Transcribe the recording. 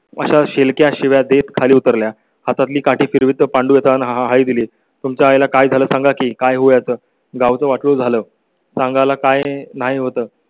अशा शेलक्या शिव्या देत खाली उतरल्या. हातातली काठी फिरवीत पांडे तनहाइ दिली तुमचा याला काय झालय सागा की काय होतं गाव सं वाटलं झालं सांगायला काय नाही होतं